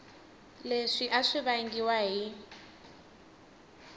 leswi a swi vangiwa hi